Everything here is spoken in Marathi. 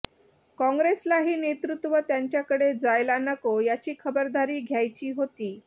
काँग्रेसलाही नेतृत्व त्यांच्याकडे जायला नको याची खबरदारी घ्यायची होती